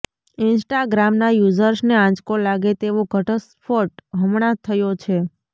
ઇન્સ્ટાગ્રામના યુઝર્સને આંચકો લાગે તેવો ઘટસ્ફોટ હમણાં થયો છે